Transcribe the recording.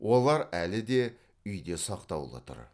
олар әлі де үйде сақтаулы тұр